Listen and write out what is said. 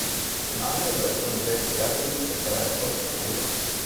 Finalni obračun dveh prijateljic je trajal točno uro.